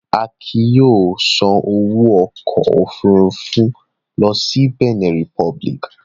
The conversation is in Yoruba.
Akin yóò sanwó ọkọ̀-òfurufú lọ sí Bẹ̀nẹ̀ Republic.